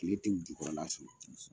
Kile ti u jukɔrɔla sɔrɔ.